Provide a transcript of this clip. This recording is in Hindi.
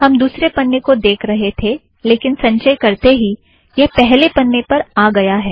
हम दुसरे पन्ने को देख रहे थे लेकिन संचय करते ही यह पहले पन्ने पर आ गया है